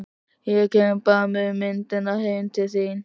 Ég kem bara með myndirnar heim til þín.